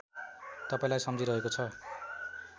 तपाईँलाई सम्झिरहेको छ